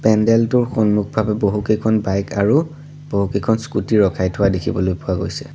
পেণ্ডেল টোৰ সন্মুখভাগত বহুকেইখন বাইক আৰু বহুকিখন স্কুটী ৰখাই থোৱা দেখিবলৈ পোৱা গৈছে।